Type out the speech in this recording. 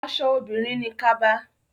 Aṣọ obìnrin ni kaba.